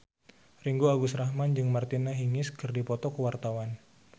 Ringgo Agus Rahman jeung Martina Hingis keur dipoto ku wartawan